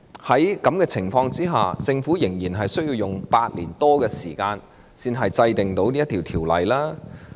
在這情況下，政府為甚麼仍需要花8年多才能制定《條例草案》呢？